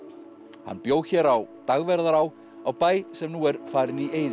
hann bjó hér á Dagverðará á bæ sem nú er farinn í eyði